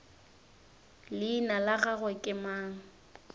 leina la gagwe ke mang